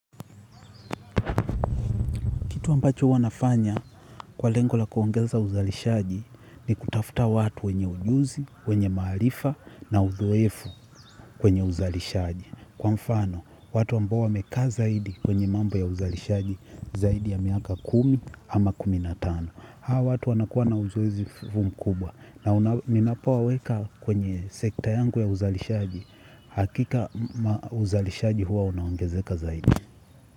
Kitu ambacho huwanafanya kwa lengo la kuongeza uzalishaji ni kutafuta watu wenye ujuzi, wenye maarifa na uzoefu kwenye uzalishaji. Kwa mfano, watu ambao wamekaa zaidi kwenye mambo ya uzalishaji zaidi ya miaka kumi ama kumi na tano. Hawa watu wanakuwa na uzuwezi mkubwa na ninapo waweka kwenye sekta yangu ya uzalishaji hakika uzalishaji huwa unaongezeka zaidi.